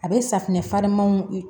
A bɛ safinɛ farinmanw